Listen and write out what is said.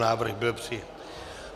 Návrh byl přijat.